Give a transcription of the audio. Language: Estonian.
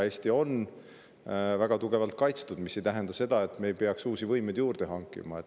Eesti on väga tugevalt kaitstud, mis ei tähenda seda, et me ei peaks uusi võimeid juurde hankima.